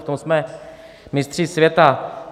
V tom jsme mistři světa.